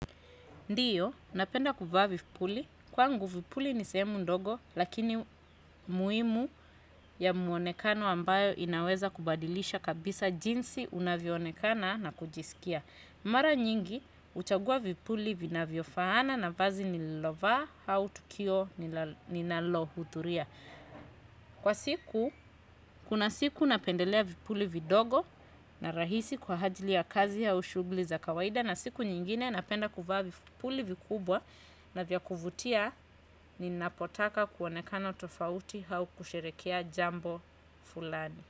Ndiyo, napenda kuvaa vipuli. Kwangu vipuli ni sehemu ndogo, lakini muimu ya muonekano ambayo inaweza kubadilisha kabisa jinsi unavyoonekana na kujisikia. Mara nyingi, uchagua vipuli vinavyofaana na vazi nililovaa au tukio ninalohuthuria. Kwa siku, kuna siku napendelea vipuli vidogo na rahisi kwa hajli ya kazi au shughli za kawaida na siku nyingine napenda kuvaa vipuli vikubwa. Na vya kuvutia ninapotaka kuonekana tofauti hau kusherekea jambo fulani.